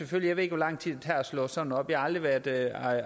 jeg ved ikke hvor lang tid det tager at slå sådan en op jeg har aldrig været